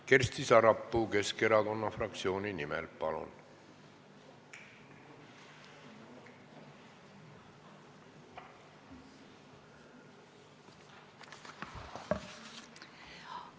Kersti Sarapuu Keskerakonna fraktsiooni nimel, palun!